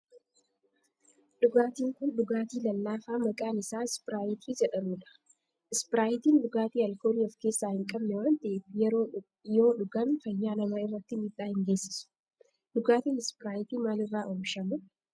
dhugaatin kun dhugaatii lallaafaa maqaan isaa Ispiraayitii jedhamudha. Ispiraayitiin dhugaatii alkoolii of keessaa hin qabne waan ta'eef yoo dhugaan fayyaa namaa irratti miidhaa hin geessisu. Dhugaatin Ispiraayitii maal irraa oomishama?